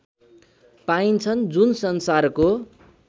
पाइन्छन् जुन संसारको